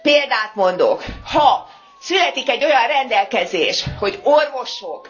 Példát mondok ha születik egy olyan rendelkezés, hogy orvosok